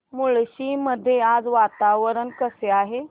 मुळशी मध्ये आज वातावरण कसे आहे